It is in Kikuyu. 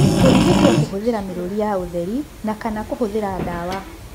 Kũrigitwo kũhũthĩra mĩrũri ya ũtheri na, kana kũhũthĩra ndawa.